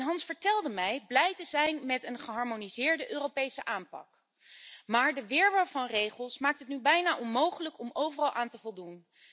Hans vertelde mij blij te zijn met een geharmoniseerde Europese aanpak, maar de wirwar van regels maakt het nu bijna onmogelijk om overal aan te voldoen.